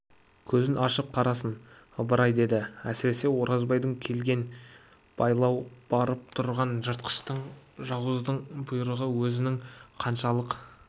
көзін ашып қарасын ыбырай деді әсіресе оразбайдан келген байлау барып тұрған жыртқыштың жауыздың бұйрығы өзінің қаншалық